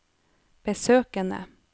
besøkene